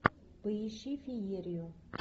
поищи феерию